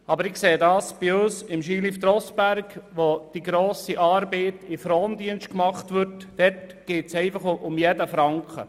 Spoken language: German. Aber bei uns, beim Skilift Rossberg, wo die grosse Arbeit im Frondienst gemacht wird, geht es um jeden Franken.